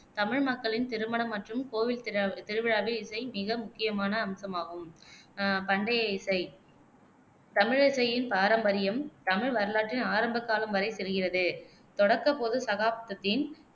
தமிழ் மக்களின் திருமணம் மற்றும் கோவில் திரு திருவிழாவில் இசை மிக முக்கியமான அம்சமாகும் அஹ் பண்டைய இசை தமிழிசையின் பாரம்பரியம் தமிழ் வரலாற்றின் ஆரம்ப காலம் வரை செல்கிறது. தொடக்கப் பொதுச் சகாப்தத்தின்